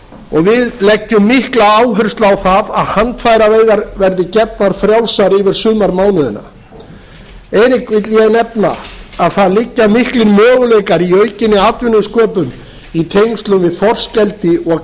og við leggjum mikla áherslu á það að handfæraveiðar verði gefnar frjálsar yfir sumarmánuðina vil ég nefna að það liggja miklir möguleikar í aukinni atvinnusköpun í tengslum við þorskeldi og